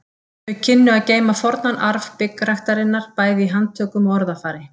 Þau kynnu að geyma fornan arf byggræktarinnar bæði í handtökum og orðafari.